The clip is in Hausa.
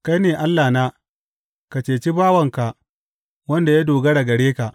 Kai ne Allahna; ka ceci bawanka wanda ya dogara gare ka.